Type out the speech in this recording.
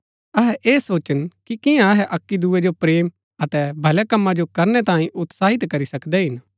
अहै ऐह सोचन कि कियां अहै अक्की दूये जो प्रेम अतै भलै कमां जो करनै तांई उत्साहित करी सकदै हिन